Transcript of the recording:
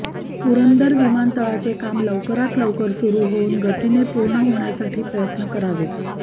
पुरंदर विमानतळाचे काम लवकरात लवकर सुरू होऊन गतीने पूर्ण होण्यासाठी प्रयत्न करावेत